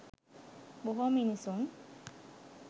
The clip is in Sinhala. බොහෝ මිනිසුන්